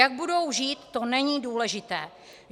Jak budou žít, to není důležité.